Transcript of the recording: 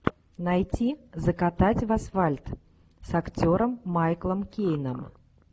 найти закатать в асфальт с актером майклом кейном